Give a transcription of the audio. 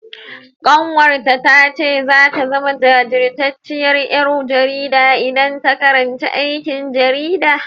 Ƙanwarta ta ce zata zama jajirtacciyar ƴar jarida idan ta karanci aikin jarida.